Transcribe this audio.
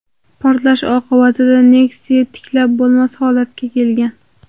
Portlash oqibatida Nexia tiklab bo‘lmas holatga kelgan.